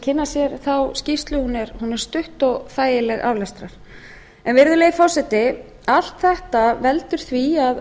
kynna sér þessa skýrslu hún er stutt og þægileg aflestrar virðulegi forseti allt þetta veldur því